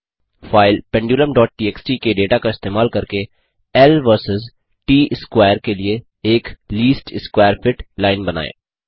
file pendulamटीएक्सटी के data का इस्तेमाल करके ल वर्सस ट स्कवैर के लिए एक लीस्ट स्कवैर फिट लाइन बनाएँ